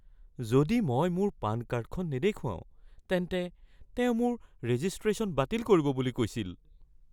যদি মই মোৰ পান কাৰ্ডখন নেদেখুৱাও তেন্তে তেওঁ মোৰ ৰেজিষ্ট্ৰেচন বাতিল কৰিব বুলি কৈছিল।